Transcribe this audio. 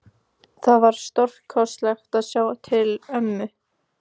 Það var stórkostlegt að sjá til ömmu.